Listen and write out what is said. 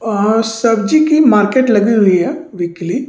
अअअ सब्जी की मार्केट लगी हुई है वीकली --